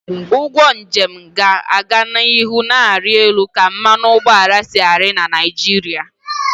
Ugwo njem ga-aga n'ihu na-arị elu ka mmanụ ụgbọala si ari na Naịjirịa